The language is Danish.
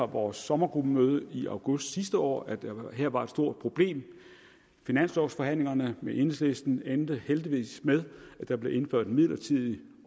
vores sommergruppemøde i august sidste år at der her var et stort problem finanslovsforhandlingerne med enhedslisten endte heldigvis med at der blev indført en midlertidig